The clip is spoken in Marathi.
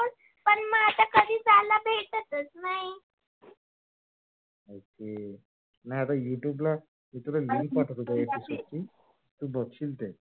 आ हम्म नाही आता youtbe ला link पाठवतो. त्याची तू बघशील ते